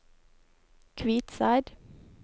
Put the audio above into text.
Kvitseid